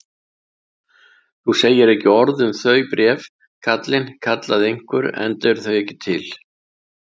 Þú segir ekki orð um þau bréf, kallinn, kallaði einhver,-enda eru þau ekki til!